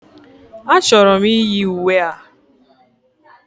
A chọrọ m iyi uwe a.